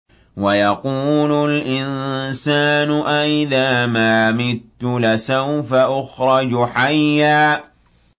وَيَقُولُ الْإِنسَانُ أَإِذَا مَا مِتُّ لَسَوْفَ أُخْرَجُ حَيًّا